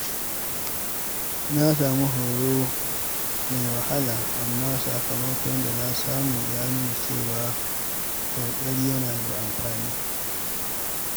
Na samu horo mai wahala, amma sakamakon da na samu ya nuna cewa ƙoƙari yana da amfani.